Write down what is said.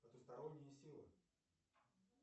потусторонние силы